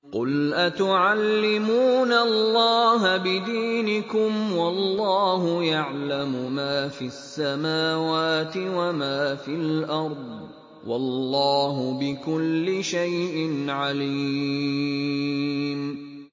قُلْ أَتُعَلِّمُونَ اللَّهَ بِدِينِكُمْ وَاللَّهُ يَعْلَمُ مَا فِي السَّمَاوَاتِ وَمَا فِي الْأَرْضِ ۚ وَاللَّهُ بِكُلِّ شَيْءٍ عَلِيمٌ